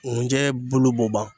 Ŋunjɛ bulu b'o ban